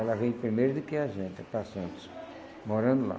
Ela veio primeiro do que a gente para Santos, morando lá.